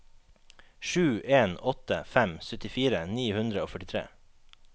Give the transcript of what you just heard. sju en åtte fem syttifire ni hundre og førtitre